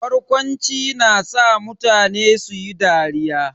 Barkwanci na sa mutane su yi dariya.